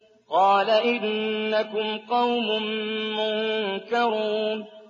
قَالَ إِنَّكُمْ قَوْمٌ مُّنكَرُونَ